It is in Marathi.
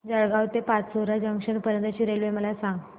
जळगाव ते पाचोरा जंक्शन पर्यंतची रेल्वे मला सांग